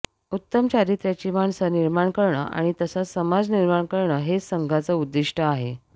उत्तम चारित्र्याची माणसं निर्माण करणं आणि तसाच समाज निर्माण करणं हेच संघाचं उद्दीष्ट आहे